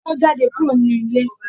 Ọkọ ko jáde kúrò nínú ilé.